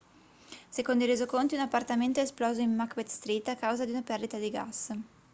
secondo i resoconti un appartamento è esploso in macbeth street a causa di una perdita di gas